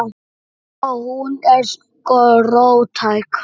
Ó. Hún er sko róttæk.